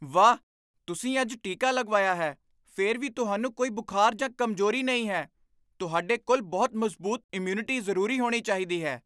ਵਾਹ! ਤੁਸੀਂ ਅੱਜ ਟੀਕਾ ਲਗਵਾਇਆ ਹੈ ਫਿਰ ਵੀ ਤੁਹਾਨੂੰ ਕੋਈ ਬੁਖਾਰ ਜਾਂ ਕਮਜ਼ੋਰੀ ਨਹੀਂ ਹੈ। ਤੁਹਾਡੇ ਕੋਲ ਬਹੁਤ ਮਜ਼ਬੂਤ ਇਮਿਊਨਿਟੀ ਜ਼ਰੂਰੀ ਹੋਣੀ ਚਾਹੀਦੀ ਹੈ!